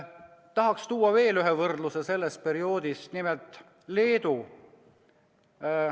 Tahaksin tuua veel ühe võrdluse sellest perioodist, nimelt Leedu kohta.